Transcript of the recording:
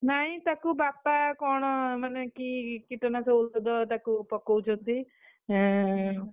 ନାଇ ତାକୁ ବାପା କଣ ମାନେ କି କୀଟ ନାଶକ ଔଷଧ ତାକୁ ପକଉଛନ୍ତି, ହେଁ